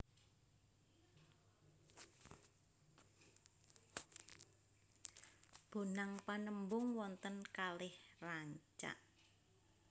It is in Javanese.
Bonang Panembung wonten kalih rancak